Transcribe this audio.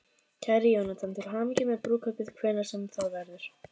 Kæri Jónatan, til hamingju með brúðkaupið, hvenær sem það verður.